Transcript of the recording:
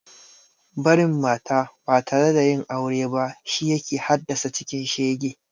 Barin mata ba tare da yin aure ba shi yake hadassa cikin shege